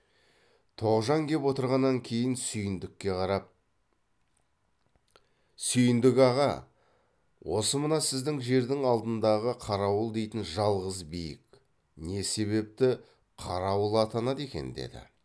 тоғжан кеп отырғаннан кейін сүйіндікке қарап сүйіндік аға осы мына сіздің жердің алдындағы қарауыл дейтін жалғыз биік не себепті қарауыл атанады екен деді